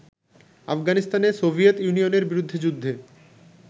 আফগানিস্তানে সোভিয়েত ইউনিয়নের বিরুদ্ধে যুদ্ধে